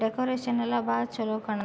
decoration ಎಲ್ಲ ಬಾಳ ಚಲೋ ಕಾಣ್ --